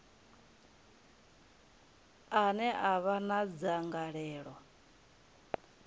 ane a vha na dzangalelo